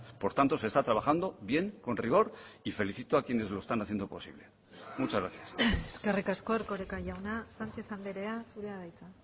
por tanto se está trabajando bien con rigor y felicito a quienes lo están haciendo posible muchas gracias eskerrik asko erkoreka jauna sánchez andrea zurea da hitza